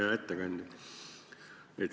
Hea ettekandja!